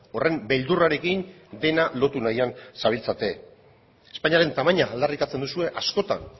horren beldurrarekin dena lotu nahian zabiltzate espainiaren tamaina aldarrikatzen duzue askotan